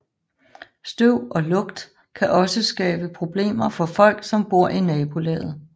Støv og lugt kan også skabe problemer for folk som bor i nabolaget